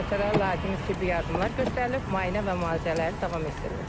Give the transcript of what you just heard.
Xəstələrə lazımi tibbi yardımlar göstərilib, müayinə və müalicələri davam etdirilir.